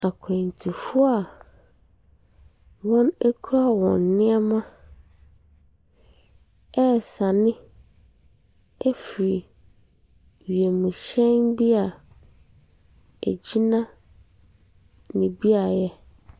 Akwantufoɔ wɔn kura wɔn nnoɔma ɛresane afiri wiemuhyɛn bi a egyina ne beaeɛ.